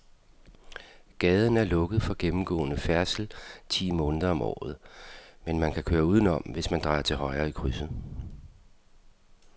Gaden er lukket for gennemgående færdsel ti måneder om året, men man kan køre udenom, hvis man drejer til højre i krydset.